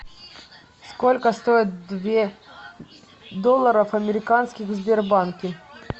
сколько стоит две долларов американских в сбербанке